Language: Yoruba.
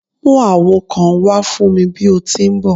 Mu awo kan wa fun mi bi o ti n bọ!